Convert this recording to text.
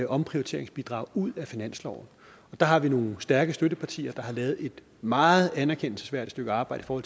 omprioriteringsbidrag ud af finansloven der har vi nogle stærke støttepartier der har lavet et meget anerkendelsesværdigt stykke arbejde for